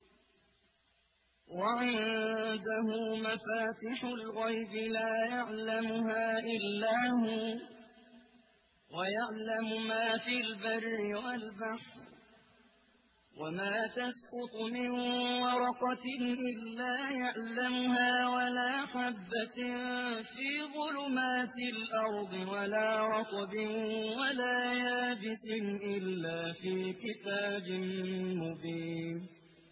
۞ وَعِندَهُ مَفَاتِحُ الْغَيْبِ لَا يَعْلَمُهَا إِلَّا هُوَ ۚ وَيَعْلَمُ مَا فِي الْبَرِّ وَالْبَحْرِ ۚ وَمَا تَسْقُطُ مِن وَرَقَةٍ إِلَّا يَعْلَمُهَا وَلَا حَبَّةٍ فِي ظُلُمَاتِ الْأَرْضِ وَلَا رَطْبٍ وَلَا يَابِسٍ إِلَّا فِي كِتَابٍ مُّبِينٍ